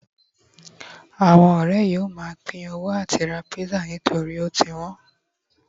awon ore yíò ma pin owó ati ra pizza nitori o ti wón